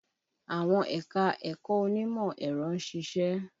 Àwọn ẹ̀ka-ẹ̀kọ onímọ̀ ẹ̀rọ ń ṣiṣẹ́